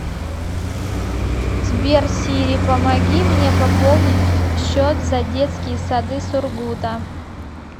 сбер сири помоги мне пополнить счет за детские сады сургута